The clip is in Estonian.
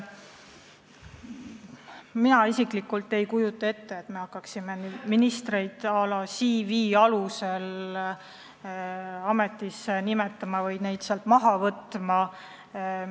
Mina isiklikult ei kujuta ette, et me hakkaksime ministreid à la CV alusel ametisse nimetama või neid sealt maha võtma.